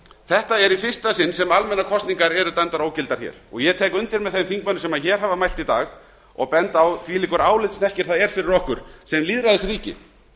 þetta er í fyrsta sinn sem almennar kosningar eru dæmdar ógildar og ég tek undir með þeim þingmönnum sem á hafa mælt í dag og benda á þvílíkur álitshnekkir er fyrir okkur sem lýðræðisríki